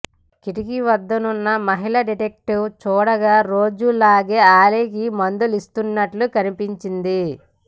కిటికీ వద్దనున్న మహిళ డిటెక్టివ్ చూడగా రోజూలాగే అలీకి మందులిస్తున్నట్లు కనిపించింది